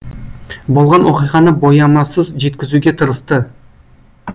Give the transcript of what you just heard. болған оқиғаны боямасыз жеткізуге тырысты